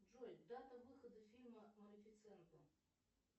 джой дата выхода фильма малифисента